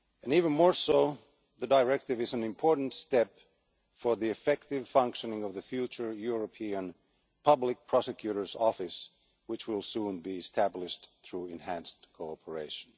Even more, the directive is an important step for the effective functioning of the future European Public Prosecutor's Office, which will soon be established through enhanced cooperation.